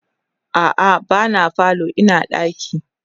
a'a ba na falo Ina ɗaki